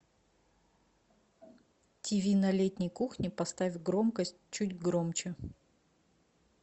тиви на летней кухне поставь громкость чуть громче